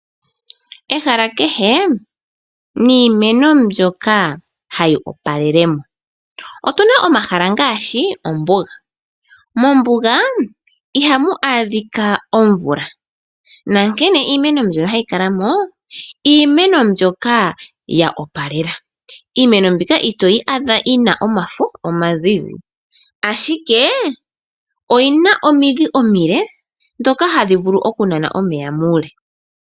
Ehala kehe niimeno mbyoka hayi opalele mo. Otuna omahala ngaashi ombuga. Mombuga ihamu adhika omvula nonkene iimeno mbyono hayi kala mo, iimeno mbyoka ya opalela. Iimeno mbika itoyi adha yina omafo omazizi ashike oyina omidhi omile, ndhoka hadhi vulu oku nana omeya muule.